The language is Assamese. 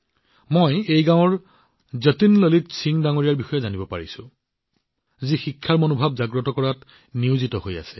মই এই গাঁৱৰ যতীন ললিত সিংজীৰ বিষয়ে জানিব পাৰিছো যি শিক্ষাৰ শিখা সৃষ্টি কৰাত নিয়োজিত হৈ আছে